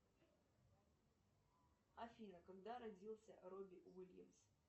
афина когда родился роби уильямс